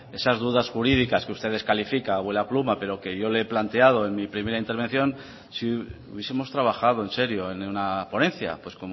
esas dudas jurídicas que usted descalifica pero que yo le he planteado en mi primera intervención si hubiesemos trabajado en serio en una ponencia pues